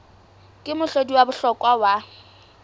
ke mohlodi wa bohlokwa wa